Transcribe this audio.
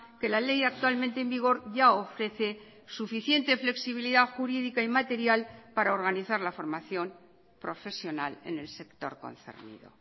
que la ley actualmente en vigor ya ofrece suficiente flexibilidad jurídica y material para organizar la formación profesional en el sector concernido